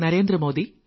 നന്ദി